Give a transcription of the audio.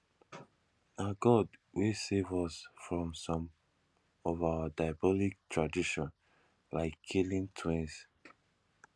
na god wey save us from some of our diabolical tradition like killing twins